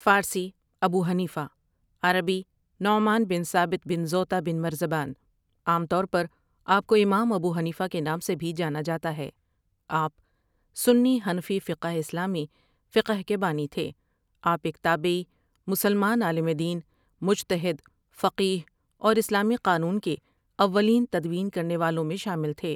فارسی Abu Hanifa, عربی Numan بن Thabit بن زوطا بن مرزبان ، عام طور پر آپکو امام ابو حنیفہ کے نام سے بھی جانا جاتا ہے آپ سنی حنفی فقہ اسلامی فقہ کے بانی تھے آپ ایک تابعی، مسلمان عالم دین، مجتہد، فقیہ اور اسلامی قانون کے اولین تدوین کرنے والوں میں شامل تھے ۔